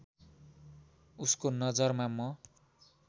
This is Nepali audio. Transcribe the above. उसको नजरमा म